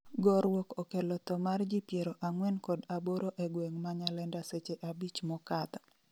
gorruok okello tho mar ji piero ang'wen kod aboro e gweng' ma Nyalenda seche abich mokadho